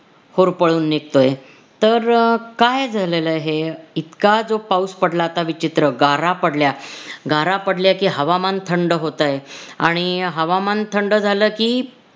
होरपळून निघतोय, तर काय झालेलं आहे इतका जो पाऊस पडला आता विचित्र गारा पडल्या गारा पडल्या की हवामान थंड होतंय आणि हवामान थंड झालं की